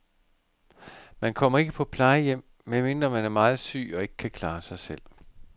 Man kommer ikke på plejehjem, medmindre man er meget syg og ikke kan klare sig selv.